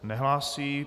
Nehlásí.